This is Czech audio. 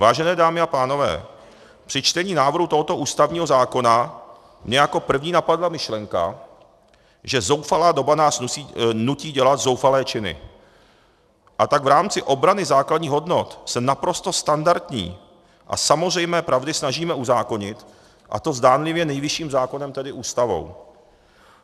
Vážené dámy a pánové, při čtení návrhu tohoto ústavního zákona mě jako první napadla myšlenka, že zoufalá doba nás nutí dělat zoufalé činy, a tak v rámci obrany základních hodnot se naprosto standardní a samozřejmé pravdy snažíme uzákonit, a to zdánlivě nejvyšším zákonem, tedy Ústavou.